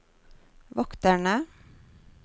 vokterne